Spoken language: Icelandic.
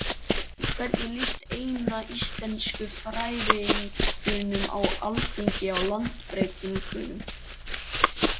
En hvernig líst eina íslenskufræðingnum á Alþingi á lagabreytinguna?